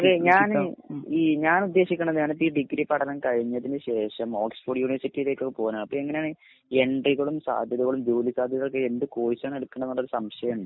ഞാൻ ഈ ഞാൻ ഉദ്ദേശിക്കുന്നത് ഈ ഡിഗ്രീ പഠനം കഴിഞ്ഞതിന് ശേഷം ഓക്സ്ഫോർഡ് യൂനിവേർസിറ്റിയിലേക്കൊക്കെ പോവാനാണ് അപ്പൊ എങ്ങനെണ് സാധ്യതകളും ജോലി സാധ്യതകളും ഏത് കോഴ്സ് ആണ് എടുക്കേണ്ടത് എന്നുള്ള സംശയം ഉണ്ട്.